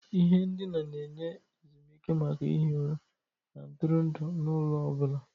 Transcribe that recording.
Ihe ndina na-enye ezumike maka ihi ụra na ntụrụndụ n'ụlọ ọ bụla.